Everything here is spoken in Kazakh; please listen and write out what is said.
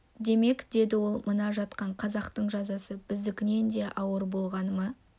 демек деді ол мына жатқан қазақтың жазасы біздікінен де ауыр болғаны ма